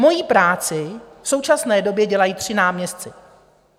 Moji práci v současné době dělají tři náměstci.